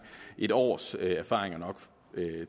et års erfaringer